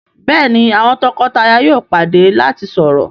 Béèni àwọn toko-taya yóò pàdé lati sọrọ..